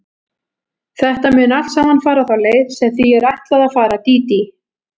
Þetta mun allt saman fara þá leið sem því er ætlað að fara, Dídí.